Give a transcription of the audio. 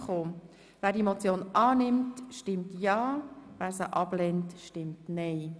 Wer die Motion annimmt, stimmt ja, wer sie ablehnt, stimmt nein.